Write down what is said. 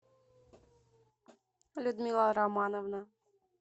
людмила романовна